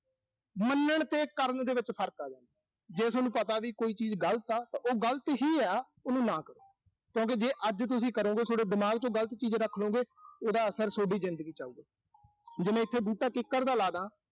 ਮੰਨਣ ਤੇ ਕਰਨ ਦੇ ਵਿੱਚ ਫਰਕ ਆ ਗਾ। ਜੇ ਸੋਨੂੰ ਪਤਾ ਵੀ ਕੋਈ ਚੀਜ਼ ਗਲਤ ਆ, ਤਾਂ ਉਹ ਗਲਤ ਹੀ ਆ, ਉਹਨੂੰ ਨਾ ਕਰੋ। ਕਿਉਂ ਕਿ ਜੇ ਅੱਜ ਤੁਸੀਂ ਕਰੋਂਗੇ, ਸੋਡੇ ਦਿਮਾਗ ਚ ਉਹ ਗਲਤ ਚੀਜ਼ ਰੱਖਲੋਂਗੇ, ਉਹਦਾ ਅਸਰ ਸੋਡੀ ਜ਼ਿੰਦਗੀ ਚ ਆਊਗਾ। ਜੇ ਮੈਂ ਇਥੇ ਬੂਟਾ ਕਿੱਕਰ ਦਾ ਲਾ ਦਾਂ।